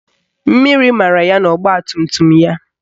Mmiri mara ya n'ogbatumtum ya